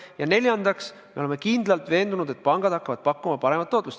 Ja neljandaks, me oleme kindlalt veendunud, et pangad hakkavad pakkuma paremat tootlust.